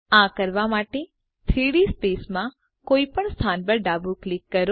આ કરવા માટે 3ડી સ્પેસમાં કોઈપણ સ્થાન પર ડાબું ક્લિક કરો